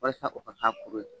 Walasa o ka kɛ a kuru ye.